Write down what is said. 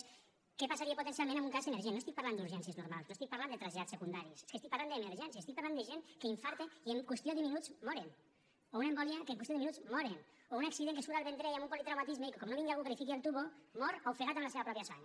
és què passaria potencialment amb un cas emergent no estic parlant d’urgències normals no estic parlant de trasllats secundaris és que estic parlant d’emergències estic parlant de gent que infarta i que en qüestió de minuts moren o una embòlia que en qüestió de minuts moren o un accident que surt al vendrell amb un politraumatisme i que com no vingui algú que li fiqui el tub mor ofegat en la seva pròpia sang